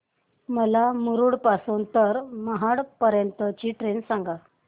मला मुरुड पासून तर महाड पर्यंत ची ट्रेन सांगा